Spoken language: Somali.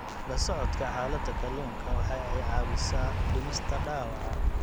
La socodka xaalada kalluunka waxa ay caawisaa dhimista dhaawaca.